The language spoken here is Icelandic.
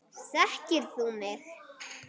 Þekkir þú mig?